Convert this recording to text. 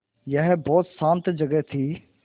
यह बहुत शान्त जगह थी